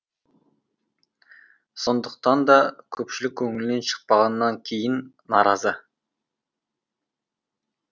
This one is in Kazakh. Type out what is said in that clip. сондықтан да көпшілік көңілінен шықпағаннан кейін наразы